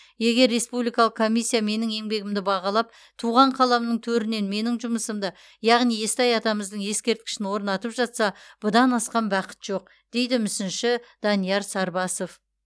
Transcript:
егер республикалық комиссия менің еңбегімді бағалап туған қаламның төрінен менің жұмысымды яғни естай атамыздың ескерткішін орнатып жатса бұдан асқан бақыт жоқ дейді мүсінші данияр сарбасов